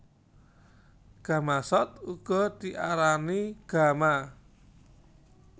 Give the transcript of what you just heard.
Gamasot uga diarani gama